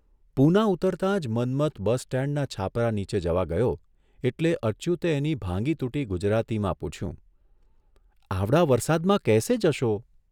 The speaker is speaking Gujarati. પૂના ઉતરતા જ મન્મથ બસ સ્ટેન્ડના છાપરા નીચે જવા ગયો એટલે અચ્યુતે એની ભાંગીતૂટી ગુજરાતીમાં પૂછ્યુઃ આવડા વરસાદમાં કૈસે જશો?